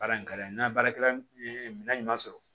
Baara in ka di n ye n ka baarakɛla ye minɛn ɲuman sɔrɔ